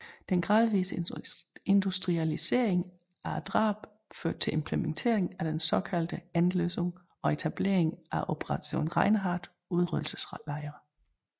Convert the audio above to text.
Den gradvise industrialisering af drabene førte til implementering af den såkaldte Endlösung og etablering af Operation Reinhard udryddelseslejre